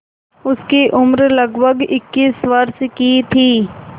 उसकी उम्र लगभग इक्कीस वर्ष की थी